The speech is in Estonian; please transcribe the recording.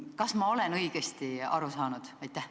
Kas ma olen õigesti aru saanud?